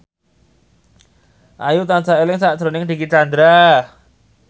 Ayu tansah eling sakjroning Dicky Chandra